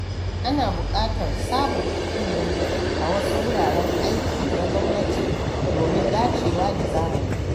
Ana buƙatar sabunta ilimi a wasu wuraren aiki na gwamnati domin dacewa da zamani.